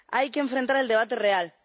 Hay que enfrentar el debate real.